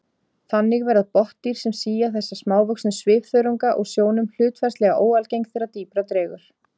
Þannig verða botndýr sem sía þessa smávöxnu svifþörunga úr sjónum hlutfallslega óalgeng þegar dýpra dregur.